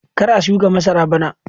Kar a shuka masara bana!